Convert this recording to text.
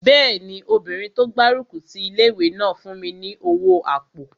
Bẹ́ẹ̀ni, obìnrin tó gbárùkù ti ilé-ìwé náà fún mi ní owó àpò